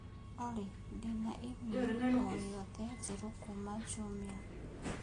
Olly ndĩ na i-mīrū o yothe njerũ kuuma jumia